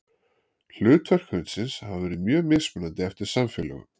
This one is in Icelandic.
Hlutverk hundsins hafa verið mjög mismunandi eftir samfélögum.